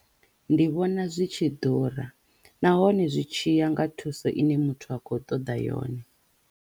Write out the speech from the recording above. Ndi vhona zwi tshi ḓura nahone zwi tshiya nga thuso i ne muthu akho ṱoḓa yone.